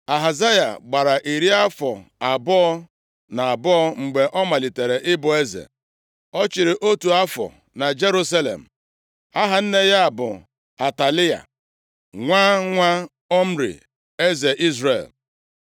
Ahazaya gbara iri afọ abụọ na abụọ mgbe ọ malitere ịbụ eze. Ọ chịrị otu afọ na Jerusalem. Aha nne ya bụ Atalaya nwa nwa Omri eze Izrel.